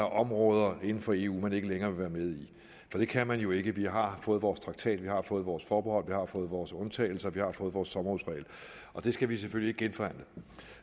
områder inden for eu man ikke længere vil være med i for det kan man jo ikke vi har fået vores traktat vi har fået vores forbehold vi har fået vores undtagelser vi har fået vores sommerhusregel og det skal vi selvfølgelig ikke genforhandle